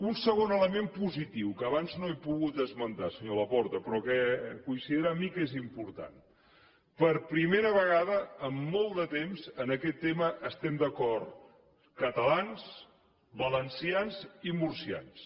un segon element positiu que abans no he pogut esmentar senyor laporta però que coincidirà amb mi que és important per primera vegada en molt de temps en aquest tema estem d’acord catalans valencians i murcians